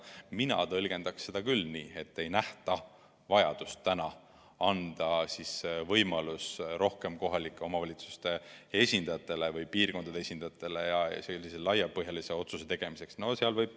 Mina tõlgendaksin seda küll nii, et ei nähta vajadust anda võimalus rohkematele kohalike omavalitsuste volikogude esindajatele või piirkondade esindajatele laiapõhjalise otsuse tegemiseks.